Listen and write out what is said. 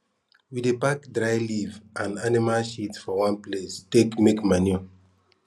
we dey pack dry leaf and anima shit for one place take make manure